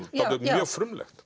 mjög frumlegt